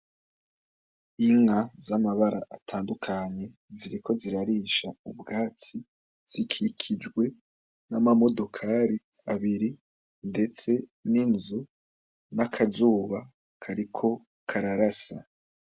Inka z'amabara atandukanye ziriko zirarisha mu bwatsi, zikikijwe n'amamodokari abiri ndetse n'inzu, n'akazuba kariko kararasa.